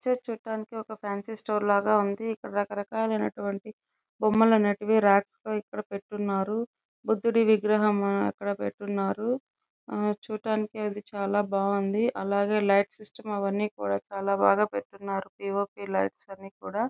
ఈ పిక్చర్ చూడంటికి ఒక ఫాన్సీ స్టోర్ లాగేఉంది.చూడటానికి అది చాల బాగుంది. అలాగే లైట్ సిస్టం అవన్నీ కూడా చాల బాగా పెట్టిఉన్నారు .పి ఓ పి లైట్స్ అవన్నీ కూడా--